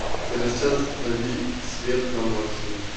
через час установи свет на максимум